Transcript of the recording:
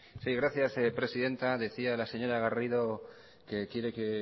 sí gracias presidenta decía la señora garrido que quiere que